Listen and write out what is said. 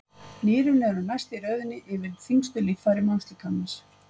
Nýrun eru næst í röðinni yfir þyngstu líffæri mannslíkamans.